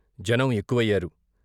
జనం ఎక్కువయ్యారు.